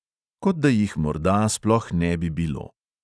Kot da jih morda sploh ne bi bilo.